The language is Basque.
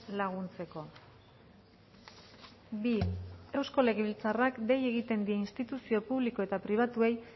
laguntzeko bi eusko legebiltzarrak dei egiten die instituzio publiko eta pribatuei